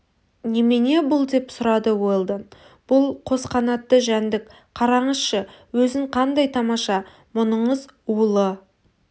немене бұл деп сұрады уэлдон бұл қос қанатты жәндік қараңызшы өзін қандай тамаша мұныңыз улы